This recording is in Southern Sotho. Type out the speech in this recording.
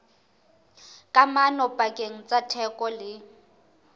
kamano pakeng tsa theko le